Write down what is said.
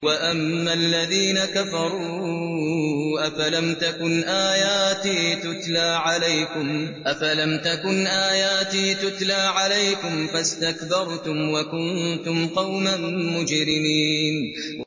وَأَمَّا الَّذِينَ كَفَرُوا أَفَلَمْ تَكُنْ آيَاتِي تُتْلَىٰ عَلَيْكُمْ فَاسْتَكْبَرْتُمْ وَكُنتُمْ قَوْمًا مُّجْرِمِينَ